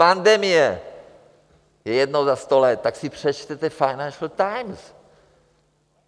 Pandemie je jednou za sto let, tak si přečtěte Financial Times.